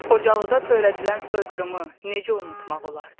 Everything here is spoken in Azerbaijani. Xocalıda törədilən soyqırımı necə unumaq olardı?